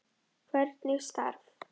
Hvernig staf